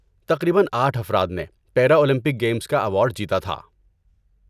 تقریباً آٹھ افراد نے پیرا اولمپک گیمز کا ایوارڈ جیتا تھا۔